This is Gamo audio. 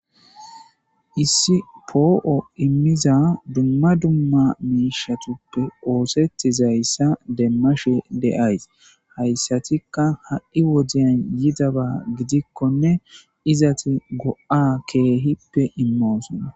Issi po7o emiza duma duma mishshatape osetizaysa demashe de7aysi haysatika ha7i wodiyan yidaba gidikone ezeti go7a kehippe emmosona.